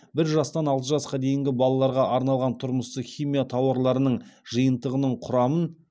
бір жастан алты жасқа дейінгі балаларға арналған тұрмыстық химия тауарларының жиынтығының құрамын